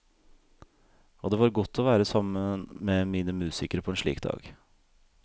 Og det var godt å være sammen med mine musikere på en slik dag.